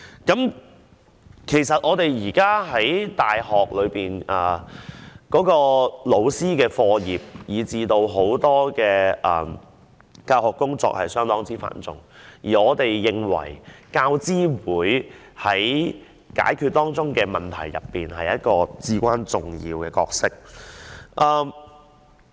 事實上，現在大學老師的課業，以至教學工作等都頗為繁重，而我們認為大學教育資助委員會在解決當中的問題方面，扮演着至關重要的角色。